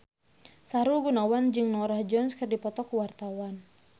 Sahrul Gunawan jeung Norah Jones keur dipoto ku wartawan